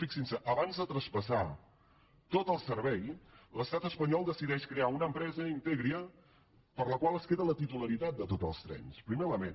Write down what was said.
fixin s’hi abans de traspassar tot el servei l’estat espanyol decideix crear una empresa integria per la qual es queda la titularitat de tots els trens primer element